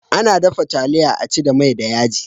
Ana dafa taliya a ci da mai da yaji.